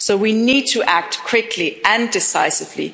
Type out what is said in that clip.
So we need to act quickly and decisively.